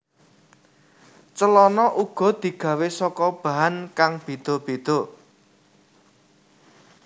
Celana uga digawé saka bahan kang béda béda